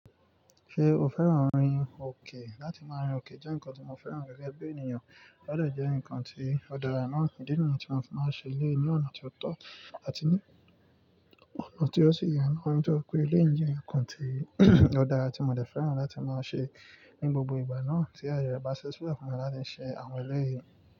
Ṣé o fẹ́ràn rin òkè? Láti máa rin òkè jẹ́ nǹkan tí mo fẹ́ràn gẹ́gẹ́ bí ènìyàn, ó dẹ jẹ́ nǹkan tí ó dára náà. Ídí nìyí tí mo fi máa ń ṣe eléyìí ni ọ̀nà ti o tọ́ àti ní ọ̀nà tí ó sì yẹ náa. Nítorí pé eléyìí jẹ́ nǹkan tí ó dára tí mo dẹ̀ fẹ́ràn láti máa ṣe ní gbogbo ìgbà náà tí aye rẹ bá ṣi silẹ fún mi láti ṣe àwọn ẹlẹ́yìí.